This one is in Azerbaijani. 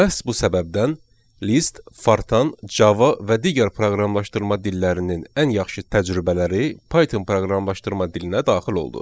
Məhz bu səbəbdən Lisp, Fortran, Java və digər proqramlaşdırma dillərinin ən yaxşı təcrübələri Python proqramlaşdırma dilinə daxil oldu.